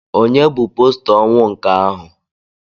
Ònye bụ posta ọnwụ nke ahụ?